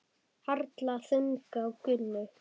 Harla þung á Gunnu.